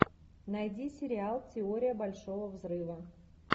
найди сериал теория большого взрыва